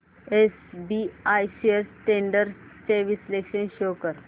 SBI shares trends चे विश्लेषण show कर